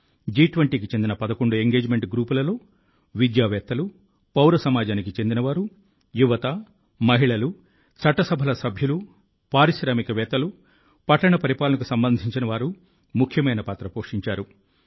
జి20కి చెందిన పదకొండు ఎంగేజ్మెంట్ గ్రూపులలో విద్యావేత్తలు పౌర సమాజానికి చెందినవారు యువత మహిళలు చట్ట సభల సభ్యులు పారిశ్రామికవేత్తలు పట్టణ పరిపాలనకు సంబంధించినవారు ముఖ్యమైన పాత్ర పోషించారు